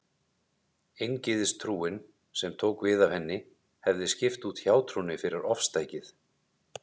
Eingyðistrúin, sem tók við af henni, hefði skipt út hjátrúnni fyrir ofstækið.